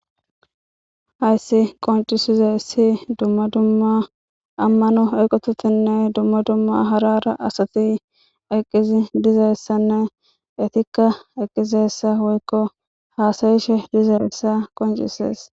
Hayssi qoncisize ssi dumma dumma ammano eqototinne dumma dumma harara asati eqqizi dizayssanne etikka eqqizessa woykko haasayishe dizaessa qoncises.